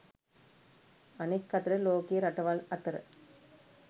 අනෙක් අතට ලෝකයේ රටවල් අතර